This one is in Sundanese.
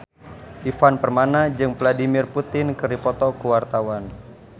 Ivan Permana jeung Vladimir Putin keur dipoto ku wartawan